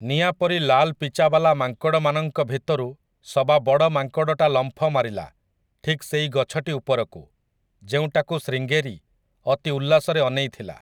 ନିଆଁ ପରି ଲାଲ ପିଚାବାଲା ମାଙ୍କଡ଼ମାନଙ୍କ ଭିତରୁ ସବା ବଡ଼ ମାଙ୍କଡ଼ଟା ଲମ୍ଫ ମାରିଲା ଠିକ ସେଇ ଗଛଟି ଉପରକୁ, ଯେଉଁଟାକୁ ଶ୍ରୀଙ୍ଗେରୀ ଅତି ଉଲ୍ଲାସରେ ଅନେଇଥିଲା ।